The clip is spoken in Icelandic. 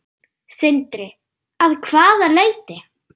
Sindri: Að hvaða leyti?